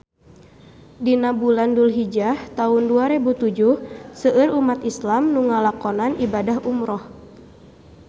Dina bulan Dulhijah taun dua rebu tujuh seueur umat islam nu ngalakonan ibadah umrah